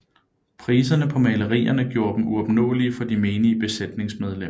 Priserne på malerierne gjorde dem uopnåelige for de menige besætningsmedlemmer